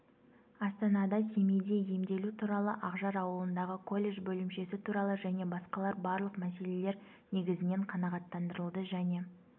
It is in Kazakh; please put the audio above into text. астанада семейде емделу туралы ақжар ауылындағы колледж бөлімшесі туралы және басқалар барлық мәселелер негізінен қанағаттандырылды және